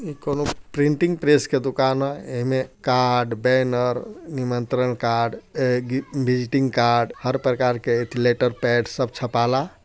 एक कोनू printing press का दुकान है| एमे कार्ड बैनर निमंत्रण कार्ड विजिटिंग कार्ड हर प्रकार के लेटर पेड सब छपाला।